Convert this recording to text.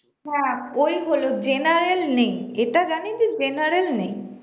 হ্যাঁ ওইহলো general নেই এটা জানি যে general নেই